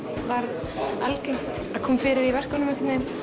varð algengt að kom fyrir í verkunum einhvern veginn